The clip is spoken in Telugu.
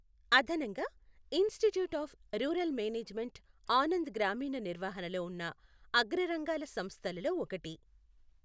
అదనంగా, institute of rural management Anand గ్రామీణ నిర్వహణలో ఉన్న అగ్ర రంగాల సంస్థలలో ఒకటి.